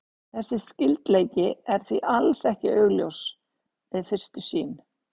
Þessi skyldleiki er því alls ekki augljós við fyrstu sýn.